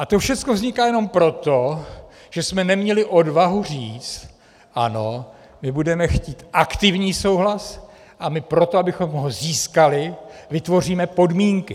A to všecko vzniká jenom proto, že jsme neměli odvahu říct: Ano, my budeme chtít aktivní souhlas a my pro to, abychom ho získali, vytvoříme podmínky.